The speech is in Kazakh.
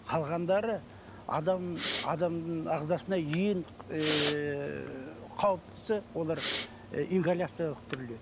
қалғандары адамның ағзасына ең ыыы қауіптісі олар і ингаляциялық түрлер